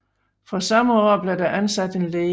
Fra samme år blev der ansat en læge